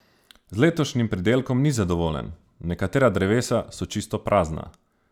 Z letošnjim pridelkom ni zadovoljen: "Nekatera drevesa so čisto prazna.